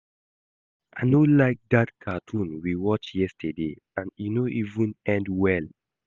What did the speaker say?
I no like dat cartoon we watch yesterday and e no even end well